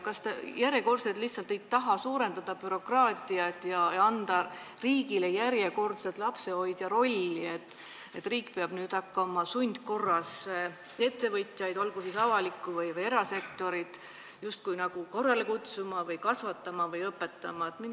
Kas te järjekordselt lihtsalt ei taha suurendada bürokraatiat ja anda riigile lapsehoidja rolli, nii et riik peab hakkama sundkorras ettevõtjaid, olgu siis avalikku või erasektorit, justkui korrale kutsuma, kasvatama või õpetama?